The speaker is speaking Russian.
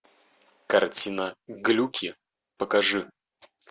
картина глюки покажи